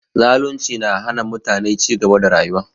Zalunci na hana mutane cigaba da rayuwa